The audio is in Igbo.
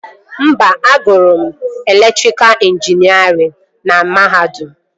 Mba, agụrụ m elektrika ịnjinierịn na mahadum